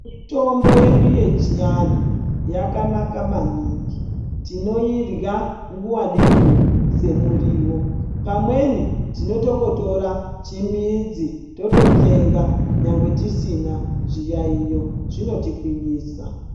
Mitombo yedu yechianhu yakanaka maningi tinoirya nguwa nenguwa semuriwo pamweni tinotongotora chimidzi tototsenga nyangwe tisina chiyaiyo zvinotigwinyisa.